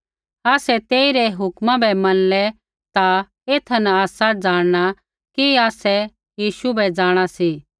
आसै तेइरै हुक्मा बै मनलै ता एथा न आसा ज़ाणना कि आसै यीशु बै जाँणा सी